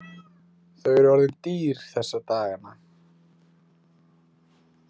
Þau eru orðin dýr þessa dagana.